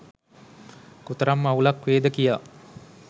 කොතරම් අවුලක් වේද කියා